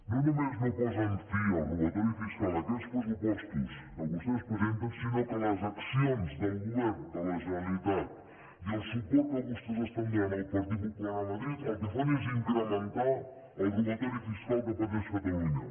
no només no posen fi al robatori fiscal aquests pressupostos que vostès presenten sinó que les accions del govern de la generalitat i el suport que vostès estan donant al partit popular a madrid el que fan és incrementar el robatori fiscal que pateix catalunya